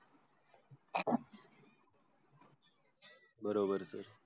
बरोबर